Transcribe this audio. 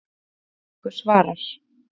Þessari spurningu svarar